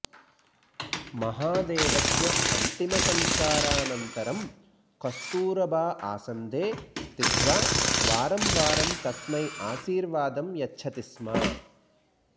महादेवस्य अन्तिमसंस्कारानन्तरं कस्तूरबा आसन्दे स्थित्वा वारं वारं तस्मै आशीर्वादं यच्छति स्म